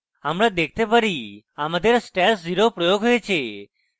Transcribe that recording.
আমরা দেখতে পারি আমাদের stash @{0} প্রয়োগ হয়েছে